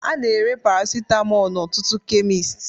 A na-ere Paracetamol n'ọtụtụ kemist